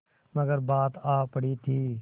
मगर बात आ पड़ी थी